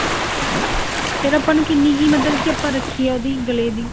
ਫ਼ੇਰ ਆਪਾਂ ਨੂੰ ਕਿੰਨੀ ਕੁ ਮਤਲਬ ਕੀ ਆਪਾਂ ਰੱਖੀਏ ਉਹਦੀ ਗਲੇ ਦੀ